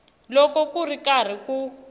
loko ku ri karhi ku